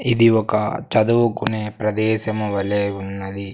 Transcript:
ఇది ఒక చదువుకునే ప్రదేశము వలే ఉన్నది.